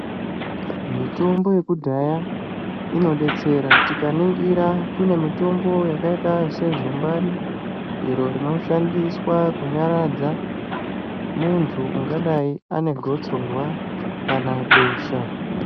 Mitombo yekudhaya inodetsera. Tikaningira kune mitombo yakaita sezumbani iro rinoshandiswa kunyaradza muntu ungadai ane gotsorwa kana besha.